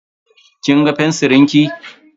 Kin ga fensirin ki?